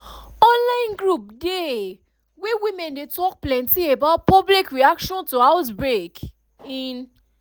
online group dey wey women dey talk plenty about public reaction to outbreak in